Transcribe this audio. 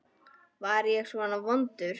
Var ég svona vondur?